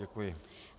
Děkuji.